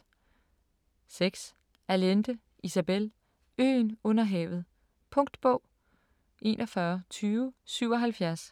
6. Allende, Isabel: Øen under havet Punktbog 412077